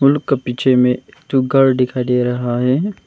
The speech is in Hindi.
उन लोग के पीछे में एक ठो घर दिखाई दे रहा है।